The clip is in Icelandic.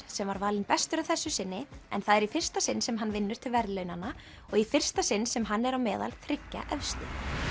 sem var valinn bestur að þessu sinni en það er í fyrsta sinn sem hann vinnur til verðlaunanna og í fyrsta sinn sem hann er á meðal þriggja efstu